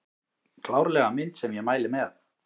Klárlega mynd sem ég mæli með